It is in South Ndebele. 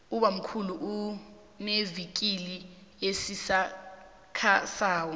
ubammkhulu unevikili esisakhasako